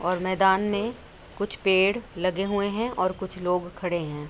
और मैदान में कुछ पेड़ लगे हुए हैं और कुछ लोग खड़े हैं।